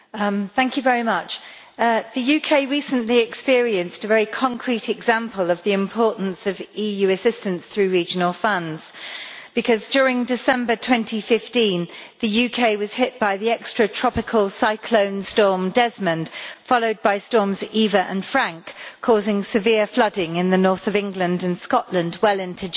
Mr President, the UK recently experienced a very concrete example of the importance of EU assistance through regional funds because during December 2015 the UK was hit by the extra tropical cyclone storm Desmond, followed by storms Eva and Frank, causing severe flooding in the north of England and Scotland well into January.